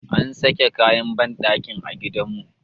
an sake kayan bandakin a gidanmu